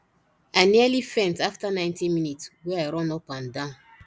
i nearly faint after 90 minutes wey i run up and down